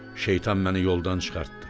Şeytan məni yoldan çıxartdı.